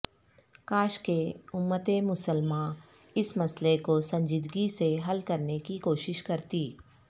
کاش کہ امت مسلمہ اس مسئلہ کو سنجیدگی سے حل کرنے کی کوشش کرتی